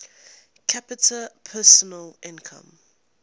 capita personal income